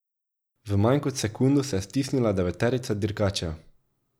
V manj kot sekundo se je stisnila deveterica dirkačev.